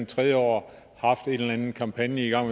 tredje år haft en eller anden kampagne i gang